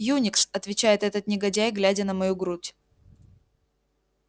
юникс отвечает этот негодяй глядя на мою грудь